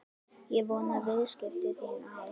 Ég vona að viðskipti þín á